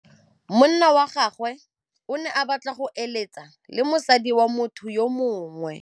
Monna wa gagwe o ne a batla go êlêtsa le mosadi wa motho yo mongwe.